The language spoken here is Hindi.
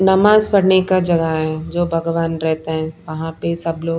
नमाज पढ़ने का जगह है जो भगवान रहते हैं वहां पे सब लोग।